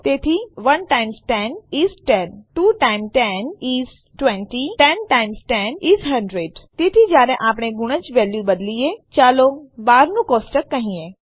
તેથી 1 times 10 is 10 2 times 2 is 2 times 10 is 20 10 times 10 is a hundred તેથી જયારે આપણે ગુણજની વેલ્યુ બદલીએ ચાલો 12 નું કોષ્ટક કહીએ